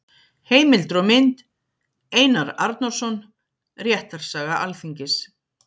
Heimildir og mynd: Einar Arnórsson: Réttarsaga Alþingis.